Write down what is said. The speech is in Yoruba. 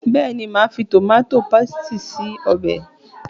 Bẹ́ẹ̀ni, màá fi tòmátó pésìtì ṣe ọbẹ̀